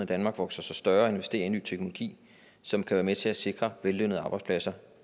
danmark vokser sig større og investerer i ny teknologi som kan være med til at sikre vellønnede arbejdspladser